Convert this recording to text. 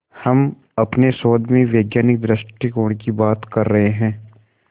हम अपने शोध में वैज्ञानिक दृष्टिकोण की बात कर रहे हैं